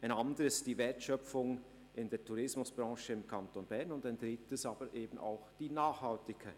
Ein anderes Kriterium ist die Wertschöpfung in der Tourismusbrache im Kanton Bern, und ein drittes Kriterium ist eben auch die Nachhaltigkeit.